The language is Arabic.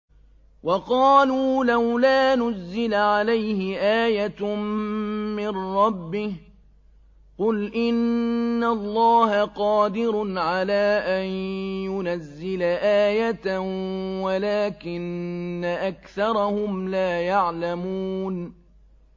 وَقَالُوا لَوْلَا نُزِّلَ عَلَيْهِ آيَةٌ مِّن رَّبِّهِ ۚ قُلْ إِنَّ اللَّهَ قَادِرٌ عَلَىٰ أَن يُنَزِّلَ آيَةً وَلَٰكِنَّ أَكْثَرَهُمْ لَا يَعْلَمُونَ